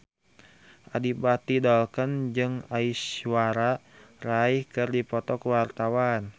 Adipati Dolken jeung Aishwarya Rai keur dipoto ku wartawan